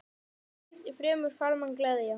Hvað mundi fremur farmann gleðja?